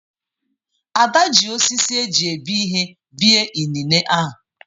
Ada ji osisi eji ebi ihe bie inine ahụ.